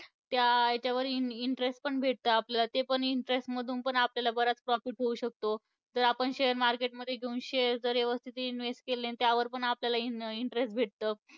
त्या याच्यावर interest पण भेटतं आपल्याला. ते पण interest मधून पण आपल्याला बराच profit होऊ शकतो. जर आपण share market मध्ये घेऊन shares जर यवस्थित invest केले अन त्यावर पण आपल्याला interest भेटतो.